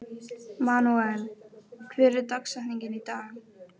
Manuel, hver er dagsetningin í dag?